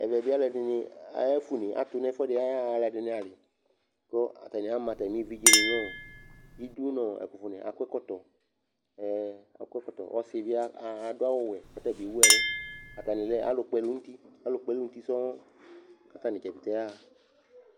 ɛvɛ bi alu ɛdini aye fuenou ayaɣa alu ɛdini ali ku ata ni ama ata mi evidze ni nu idu ku akɔ ɛkɔtɔ ɛ akɔ ɛkɔtɔ, ɔsi bi adu awu wɛ ku ɔta bi ewu ɛlu ata ni lɛ alu kpɛlu nuti sɔŋ ku ata ni dza kele yaɣa